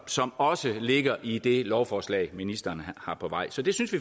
som også ligger i det lovforslag ministeren har på vej så vi synes